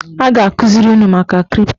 A ga-akụziri unu maka kripto